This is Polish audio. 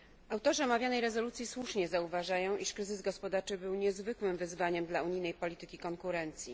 Autorzy omawianej rezolucji słusznie zauważają, iż kryzys gospodarczy był niezwykłym wyzwaniem dla unijnej polityki konkurencji.